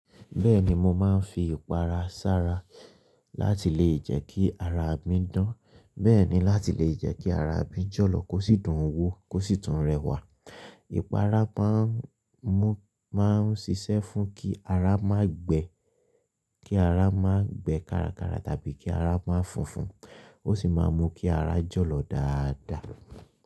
Bẹ́ẹ̀ni mo máa ń fi ìpara sára láti lè jẹ́ kí ara mi dán, bẹ́ẹ̀ ni láti lè jẹ́ kí ara mi jọ̀lọ̀ kó sì dùn wó, kó sì tún rẹwà. Ìpara máa ń mú, máa ń ṣiṣẹ́ fún kí ara má gbe, kí ara má gbe kárakára tàbí kí ara má fùnfun. Ó sì máa ń mú kí ara jọ̀lọ́ dáadáa.